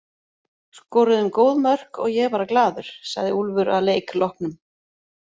Skoruðum góð mörk og ég er bara glaður, sagði Úlfur að leik loknum.